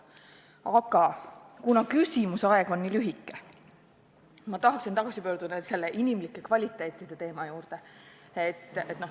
Aga kuna kõneaeg on nii lühike, siis tahaksin tagasi pöörduda nn inimlike kvaliteetide teema juurde.